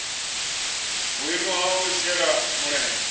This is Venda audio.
vhuimo ha u shela mulenzhe